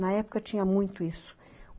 Na época tinha muito isso.